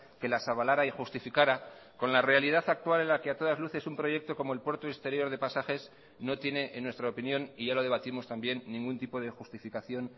que las avalara y justificara con la realidad actual en la que a todas luces un proyecto como el puerto exterior de pasajes no tiene en nuestra opinión y ya lo debatimos también ningún tipo de justificación